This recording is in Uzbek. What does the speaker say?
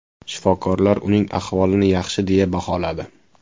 Shifokorlar uning ahvolini yaxshi deya baholadi.